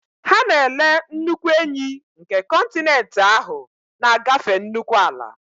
Ha na-ele nnukwu enyí nke kọntinent ahụ, na-agafe nnukwu ala